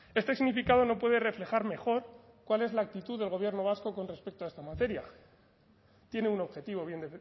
este significado no puede reflejar mejor cuál es la actitud del gobierno vasco con respecto a esta materia tiene un objetivo bien